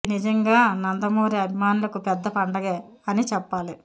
ఇది నిజంగా నందమూరి అభిమానులకు పెద్ద పండగే అని చెప్పాలి